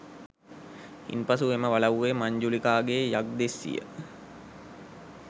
ඉන් පසු එම වලව්වේ මංජුලිකාගේ යක්දෙස්සිය